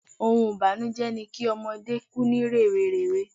Oun ìbànújẹ́ ni ki ọmọdé ku ni rèwerèwe